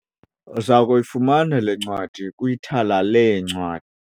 Uza kuyifumana le ncwadi kwithala leencwa.